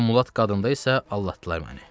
O mulat qadında isə aldatdılar məni.